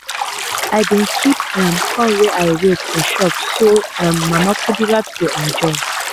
i bin keep um corn wey i roast for shop so um mama kudirat go enjoy.